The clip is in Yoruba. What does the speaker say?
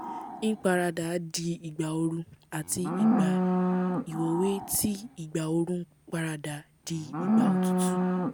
n paradaa di igba oru ati igba iwowo eti igba oru parada dii igba otutu